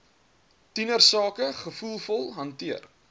tienersake gevoelvol hanteer